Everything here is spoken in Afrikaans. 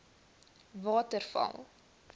waterval